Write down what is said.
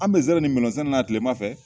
An bɛ nsɛrɛ ni melɔn sɛnɛ na tilema fɛ